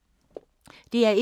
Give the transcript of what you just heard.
DR1